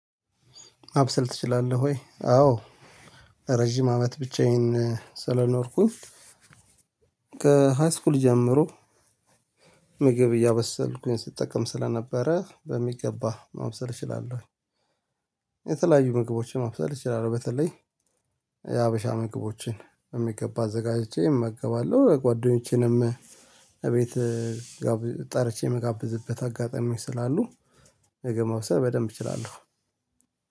ማብሰል ትችላለህ ወይ? አዎ ረጅም አመት ብቻዬን ስለኖርኩኝ ከሃይስኩል ጀምሮ ምግብ እያበሰልኩኝ ስጠቀም ስለነበረ በሚገባ ማብሰል እችላለሁ። የተለያዩ ምግቦችን ማብሰል እችላለሁ። በተለይ የሀበሻ ምግቦችን በሚገባ አዘጋጅቼ እመጋባለሁ። ጓደኞቼንም እቤት ጠርቼ የምጋብዝበት አጋጣሚ ስላሉ ምግብ ማብሰል በደንብ እችላለሁ።